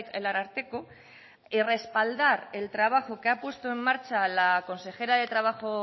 el ararteko y respaldar el trabajo que ha puesto en marcha la consejera de trabajo